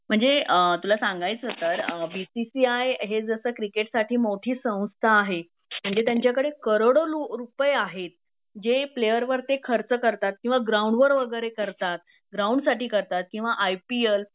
म्हणजे तुला सांगायचं तर बी सीसी आय हे जस क्रिकेटसाठी मोठी संस्था आहे म्हणजे त्यांच्याकडे करोडो रुपये आहेत जे प्लेयर वर ते खर्च करतात किंवा ग्राऊंडवर वगैरे करतात, ग्राऊंडसाठी करतात किना आय पी एल